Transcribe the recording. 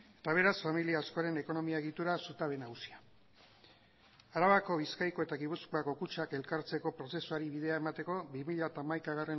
eta beraz familia askoren ekonomia egituraren zutabe nagusia arabako bizkaiko eta gipuzkoako kutxak elkartzeko prozesuari bidea emateko bi mila hamaikagarrena